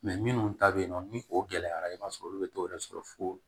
minnu ta bɛ yen nɔ ni o gɛlɛyara i b'a sɔrɔ olu bɛ t'o yɛrɛ sɔrɔ fo